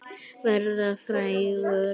Verða frægur?